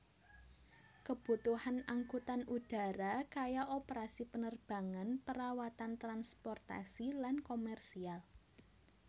Kebutuhan angkutan udara kaya operasi penerbangan perawatan transportasi lan komersial